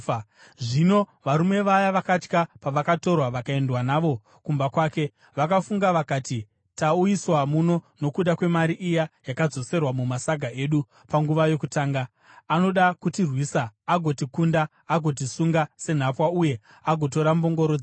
Zvino varume vaya vakatya pavakatorwa vakaendwa navo kumba kwake. Vakafunga vakati, “Tauyiswa muno nokuda kwemari iya yakadzoserwa mumasaga edu panguva yokutanga. Anoda kutirwisa, agotikunda, agotisunga senhapwa uye agotora mbongoro dzedu.”